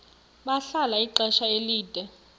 bahlala ixesha elide